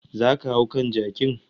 Zo ka hau kan jakin